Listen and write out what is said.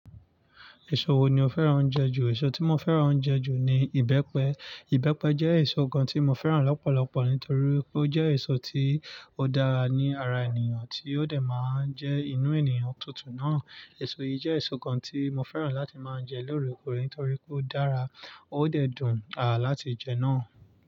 Èso wo ni o fẹ́ràn jẹ ju? Èso tí mo fẹ́ràn jẹ ju ni ìbẹ́pẹ. Ìbẹ́pẹ jẹ́ èso kan tí mo fẹ́ràn lọ́pọ̀lọpọ̀ nítorí pé ó jẹ́ èso tí ó dára ní ara ènìyàn, tí ó dẹ̀ máa ń jẹ́ inú ènìyàn tútù náà. Èso yii jẹ́ èso kan tí mo fẹ́ràn láti máa jẹ lóòrèkóòrè nítorí pé o dára o dẹ dùn láti jé naa.